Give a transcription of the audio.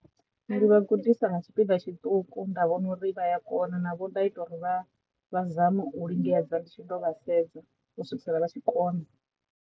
Ndi vha gudisa nga tshipiḓa tshiṱuku nda vhona uri vha ya kona na vho nda ita uri vha vha zame u lingedza ndi tshi ḓo vha sedza u swikisela vha tshi kona.